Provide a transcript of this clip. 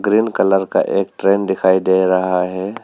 Green colour का एक train दिखाई दे रहा है।